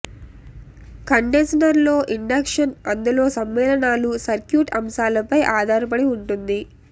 condenser లో inductance అందులో సమ్మేళనాలు సర్క్యూట్ అంశాలపై ఆధారపడి ఉంటుంది